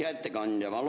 Hea ettekandja!